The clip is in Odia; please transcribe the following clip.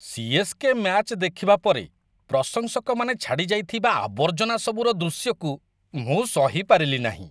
ସି.ଏସ୍.କେ. ମ୍ୟାଚ୍ ଦେଖିବା ପରେ ପ୍ରଶଂସକମାନେ ଛାଡ଼ି ଯାଇଥିବା ଆବର୍ଜନା ସବୁର ଦୃଶ୍ୟକୁ ମୁଁ ସହି ପାରିଲି ନାହିଁ।